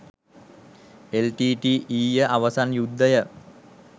L T T ඊය අවසන් යුද්ධය